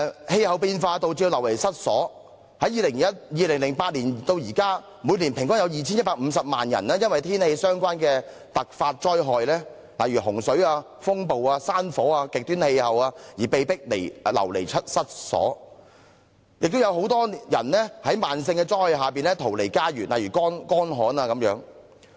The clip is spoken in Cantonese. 氣候變化導致人們流離失所，從2008年至今，每年平均有 2,150 萬人因為天氣相關的突發災害，例如洪水、風暴、山火、極端氣候而被迫流離失所，亦有很多人在慢性災害下逃離家園，例如乾旱等。